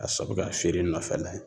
A sabu k'a feeren nɔfɛla ye.